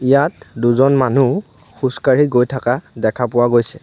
ইয়াত দুজন মানুহ খোজকাঢ়ি গৈ থকা দেখা পোৱা গৈছে।